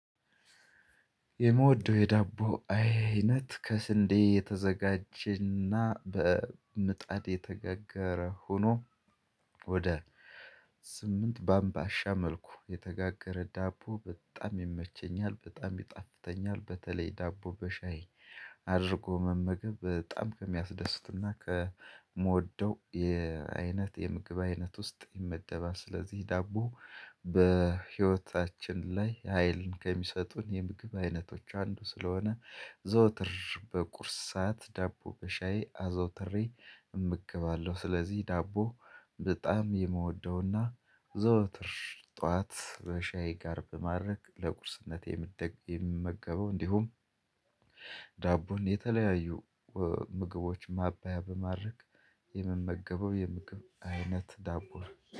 የምወደው የዳቦ አይነት ከስንዴ የተዘጋጀና በምጣድ የተጋገረ ሆኖ ወደ ስምንት ባምባሻ መልኩ የተጋገረ ዳቦ በጣም ይመቸኛል በጣም ይጣፍተኛል በተለይ ዳቦ በሻይ አድርጎ መመገብ በጣም ከሚያስደስቱና ከምወደው የአይነት የምግብ አይነት ውስጥ ይመደባል። ስለዚህ ዳቦ በህይወታችን ላይ ሀይልን ከሚሰጡን የምግብ አይነቶች አንዱ ስለሆነ ዘወትር በቁርስ ሳዓት ዳቦ በሻይ አዘውትሬ እመገባለሁ። ስለዚህ ዳቦ በጣም የምወደውና ዘወትር ጠዋት በሻይ ጋር በማድረግ ለቁርስነት የምመገበው እንዲሁም ዳቦን የተለያዩ ምግቦች ማባያ በማድረግ የምመገበው የምግብ አይነት ዳቦ ነው